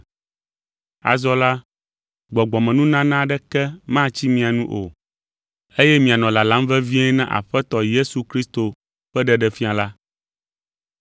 Azɔ la, gbɔgbɔmenunana aɖeke matsi mia nu o, eye mianɔ lalam vevie na Aƒetɔ Yesu Kristo ƒe ɖeɖefia la.